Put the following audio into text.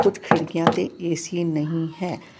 ਕੁਛ ਖਿੜਕੀਆਂ ਤੇ ਏ_ਸੀ ਨਹੀਂ ਹੈ।